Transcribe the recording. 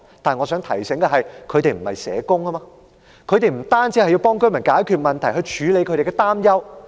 但我想提醒大家，她們不是社工，不單要協助居民解決問題及處理擔憂。